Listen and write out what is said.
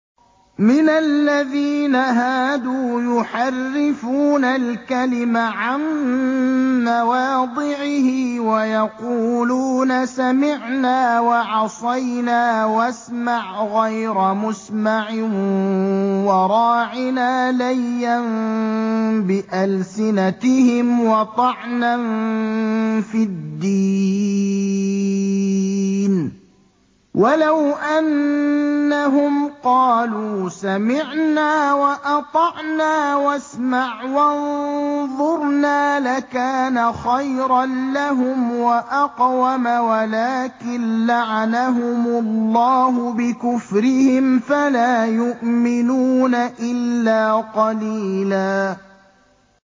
مِّنَ الَّذِينَ هَادُوا يُحَرِّفُونَ الْكَلِمَ عَن مَّوَاضِعِهِ وَيَقُولُونَ سَمِعْنَا وَعَصَيْنَا وَاسْمَعْ غَيْرَ مُسْمَعٍ وَرَاعِنَا لَيًّا بِأَلْسِنَتِهِمْ وَطَعْنًا فِي الدِّينِ ۚ وَلَوْ أَنَّهُمْ قَالُوا سَمِعْنَا وَأَطَعْنَا وَاسْمَعْ وَانظُرْنَا لَكَانَ خَيْرًا لَّهُمْ وَأَقْوَمَ وَلَٰكِن لَّعَنَهُمُ اللَّهُ بِكُفْرِهِمْ فَلَا يُؤْمِنُونَ إِلَّا قَلِيلًا